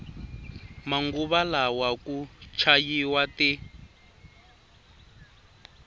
manguva lawa ku chayiwa ti